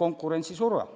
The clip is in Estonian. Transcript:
konkurentsisurves.